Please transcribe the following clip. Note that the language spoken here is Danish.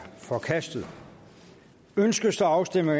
forkastet ønskes der afstemning